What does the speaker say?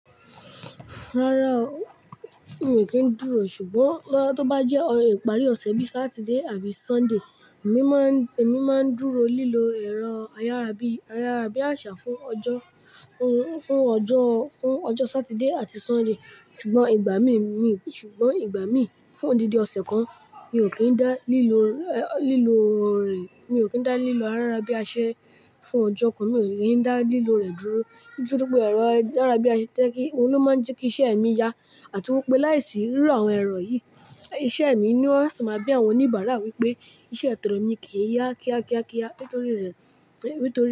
Rárá o, èmi kì í dúró, ṣùgbọ́n nígbà tó bá jẹ́ ìparí ọ̀sẹ̀ bíi Saturday àbí Sunday, èmi máa ń, èmi máa ń dúró lílo ẹ̀rọ ayárabíàṣá fún ọjọ́, fún ọjọ́, fún ọjọ́ Saturday àti Sunday. Ṣùgbọ́n ìgbà míì, ṣùgbọ́n ìgbà míì fún odidi ọ̀sẹ̀ kan mi o kin dá lílo, lílo rẹ̀, mi o kin dá lílo ayárabíàṣá fún ọjọ́ kan, mi o le dá lílo rẹ̀ dúró. Nítorí pé ẹ̀rọ ayárabíàṣá ń jẹ ki, òun ló máa ń jẹ́ kí iṣẹ́ mi ya àti wípé láìsí irú àwọn ẹ̀rọ yìí, iṣẹ́ mi inu ó si máa bí àwọn oníbàárà wípé iṣẹ́ tọ̀rẹ mi kìí ya kíá kíá kíá. Nítorí rẹ̀, nítorí.